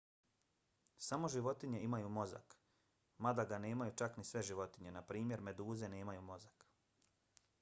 samo životinje imaju mozak mada ga nemaju čak ni sve životinje. naprimjer meduze nemaju mozak